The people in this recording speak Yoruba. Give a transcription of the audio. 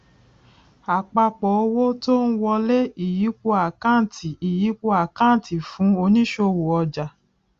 àpapọ owó tó ń wọlé ìyípo àkáǹtì ìyípo àkáǹtì fún onísòwò ọjà